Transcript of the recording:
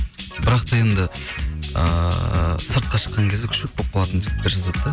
бірақ та енді ыыы сыртқа шыққан кезде күшік болып қалатын жігіттер жазады да